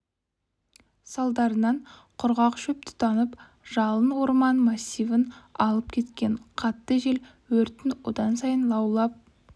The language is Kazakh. салдарынан құрғақ шөп тұтанып жалын орман массивін алып кеткен қатты жел өрттің одан сайын лаулап